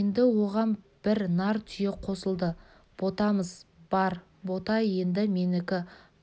енді оған бір нар түйе қосылды ботамыз бар бота енді менікі